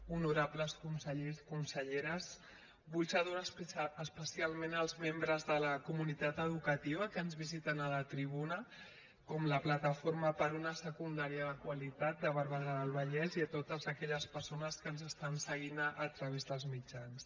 honorables consellers conselleres vull saludar especialment els membres de la comunitat educativa que ens visiten a la tribuna com la plataforma per una secundària de qualitat de barberà del vallès i totes aquelles persones que ens estan seguint a través dels mitjans